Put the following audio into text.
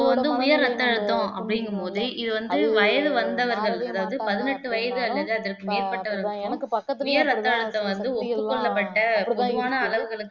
இப்ப வந்து உயர் ரத்த அழுத்தம் அப்படிங்கும்போது இது வந்து வயசு வந்தவர்கள் அதாவது பதினெட்டு வயசு அல்லது அதற்கு மேற்பட்டவர் தான் உயர் ரத்த அழுத்தம் வந்து ஒப்புக்கொள்ளப்பட்ட சுமுகமான அளவுக்கு